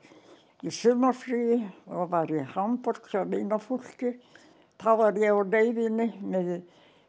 í sumarfríi og var í Hamborg hjá vinafólki þá var ég á leiðinni með